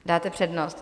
Dáte přednost.